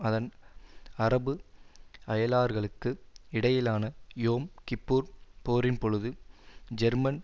அதன் அரபு அயலார்களுக்கு இடையிலான யோம் கிப்புர் போரின்பொழுது ஜெர்மன்